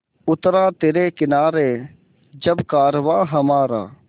उतरा तिरे किनारे जब कारवाँ हमारा